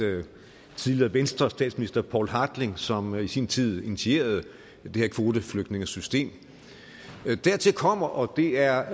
venstres tidligere statsminister poul hartling som i sin tid initierede det her kvoteflygtningesystem dertil kommer og det er